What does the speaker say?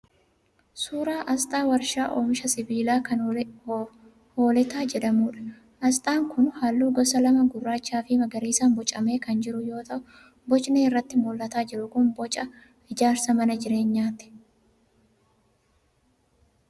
Suuraa asxaa warshaa oomisha sibiilaa kan Hooletaa jedhamuudha. Asxaan kun halluu gosa lama gurraachaa fi magariisaan boocamee kan jiru yoo ta'u bocni irratti mul'ataa jiru kun booca ijaarsa mana jireenyaati.